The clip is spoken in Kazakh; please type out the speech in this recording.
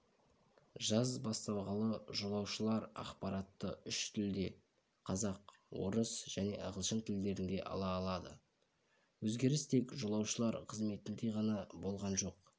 жаз басталғалы жолаушылар ақпаратты үш тілде қазақ орыс және ағылшын тілдерінде ала алады өзгеріс тек жолаушылар қызметінде ғана болған жоқ